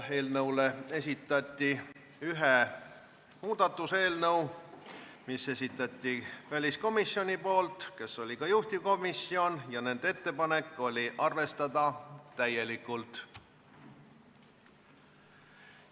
Eelnõu kohta esitati üks muudatusettepanek, mille esitas väliskomisjon, kes oli ka juhtivkomisjon, ja nende ettepanek on arvestada ettepanekut täielikult.